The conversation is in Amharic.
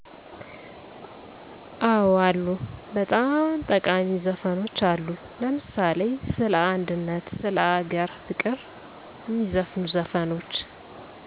አወ አሉ በጣም ጠቃሜ ዘፈኖች አሉ ለምሳሌ ሰለ አንድነት ስለ አገር ፍቅር ሜዘፍኑ ዘፈኖች